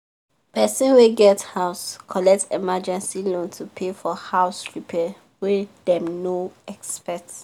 person wey get house collect emergency loan to pay for house repair wey dem no expect